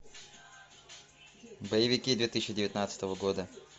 боевики две тысячи девятнадцатого года